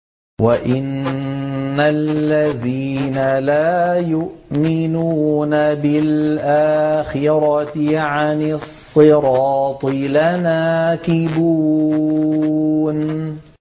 وَإِنَّ الَّذِينَ لَا يُؤْمِنُونَ بِالْآخِرَةِ عَنِ الصِّرَاطِ لَنَاكِبُونَ